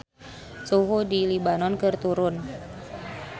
Suhu di Libanon keur turun